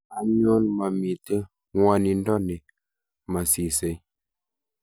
anyon, mamito ng'wonindo ne masisei